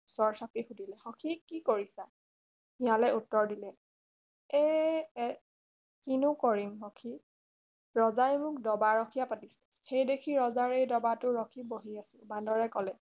ওচৰ চাপি সুধিলে সখী কি কৰিছা শিয়ালে উত্তৰ দিলে এই কিনো কৰিম সখী ৰজাই মোক ডবা ৰখীয়া পাতিছে সেই দেখি ৰজাৰ এই ডবা টোৰ খিবহি আছোঁ বান্দৰে কলে